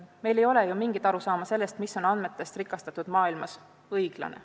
Meil ei ole ju mingit arusaama sellest, mis on andmetest rikastatud maailmas õiglane.